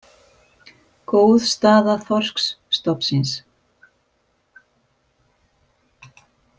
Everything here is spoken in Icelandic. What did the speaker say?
Góð staða þorskstofnsins